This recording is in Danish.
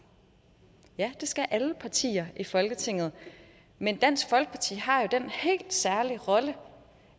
ja det skal alle partier i folketinget men dansk folkeparti har jo den helt særlige rolle